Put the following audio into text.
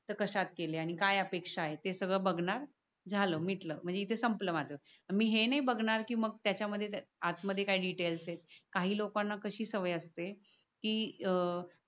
तर कशात केलय आणि काय अपेक्ष आहेत. ते सगळ बगनार झाल मिटल म्हणजे इथ संपल माझ तर मी हे नाय बगणार तेच्या आत मध्ये काय डिटेल्स येत काही लोकानना कशी सवय असते कि अह